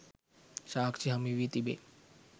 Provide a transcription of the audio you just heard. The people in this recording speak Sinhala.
සාක්ෂි හමුවී තිබේ